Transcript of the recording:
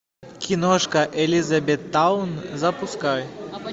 киношка элизабеттаун запускай